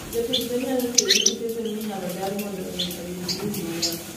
jopidh gwen nyalo tiyogi ute gwen minyalo dar mondo winy oyud lum maler